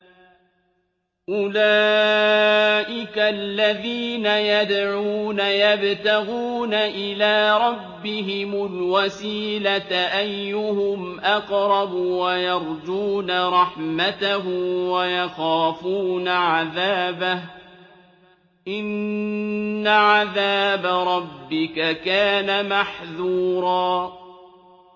أُولَٰئِكَ الَّذِينَ يَدْعُونَ يَبْتَغُونَ إِلَىٰ رَبِّهِمُ الْوَسِيلَةَ أَيُّهُمْ أَقْرَبُ وَيَرْجُونَ رَحْمَتَهُ وَيَخَافُونَ عَذَابَهُ ۚ إِنَّ عَذَابَ رَبِّكَ كَانَ مَحْذُورًا